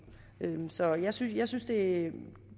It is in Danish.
så jeg synes at det